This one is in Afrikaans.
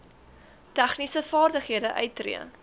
tegniese vaardighede uittree